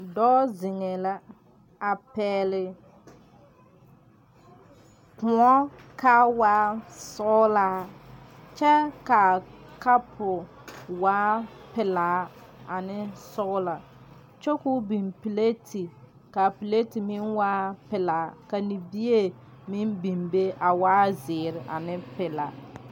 Dɔɔ ziŋeɛ la a pɛgli koɔ kaa waa sɔglaa kyɛ kaa kapo waa pilaa ane sɔglaa kyɛ koo biŋ pilati kaa pilati meŋ waa pilaa ka libie meŋ beŋ be a waa zeere a ne pilaa.